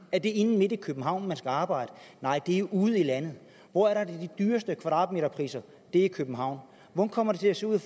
er det inde midt i københavn man skal arbejde nej det er ude i landet hvor er de dyreste kvadratmeterpriser det er i københavn hvordan kommer det til at se ud i